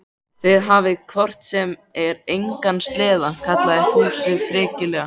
Þið hafið hvort sem er engan sleða, kallaði Fúsi frekjulega.